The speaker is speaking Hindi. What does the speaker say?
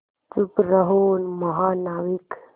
चुप रहो महानाविक